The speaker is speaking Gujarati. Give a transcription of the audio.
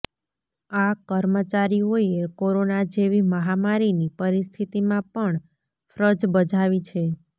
આ કર્મચારીઓએ કોરોનાં જેવી મહામારીની પરિસ્થિતિમાં પણ ફ્રજ બજાવી છે